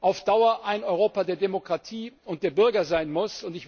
auf Dauer ein Europa der Demokratie und der Bürger sein muss.